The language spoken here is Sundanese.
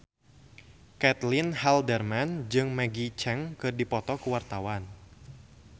Caitlin Halderman jeung Maggie Cheung keur dipoto ku wartawan